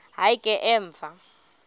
hayi ke emva